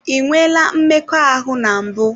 Ị nweela mmekọahụ na mbụ?